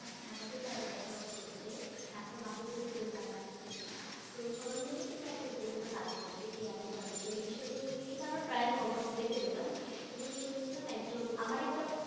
আহ ঢাকাতে যারা বসবাস করছে, ঢাকার বাহিরে থেকেও যারা আসছেন, তো সবার মধ্যেই কিন্তু একটা উত্তেজনা কাজ করছে, কে আগে যাবে তো এই বিষয়টি নিয়ে কিন্তু আমরা প্রায়ই খবর দেখতে পেতাম এবং শুনেছিলাম একজন, আমার একটা